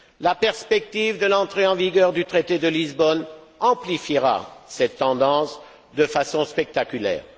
La perspective de l'entrée en vigueur du traité de Lisbonne amplifiera cette tendance de façon spectaculaire.